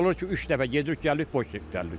Olur ki, üç dəfə gedirik, gəlirik, boş gəlirik.